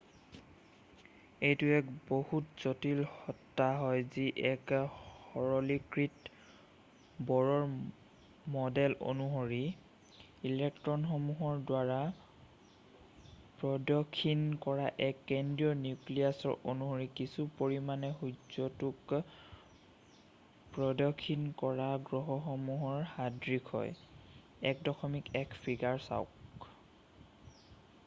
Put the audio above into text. এইটো এক বহুত জটিল সত্তা হয় যি এক সৰলীকৃত ব'ৰৰ ম'ডেল অনুসৰি ইলেক্ট্ৰ'নসমূহৰ দ্বাৰা প্ৰদক্ষিণ কৰা এক কেন্দ্ৰীয় নিউক্লীয়াছৰ অনুসৰি কিছু পৰিমাণে সূৰ্য্যটোক প্ৰদক্ষিণ কৰা গ্ৰহসমূহৰ সদৃশ হয় - 1.1 ফিগাৰ চাওক৷